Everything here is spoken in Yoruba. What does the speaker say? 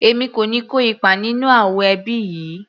Èmi kò ní kó ipa nínú ááwọ̀ ẹbí yìí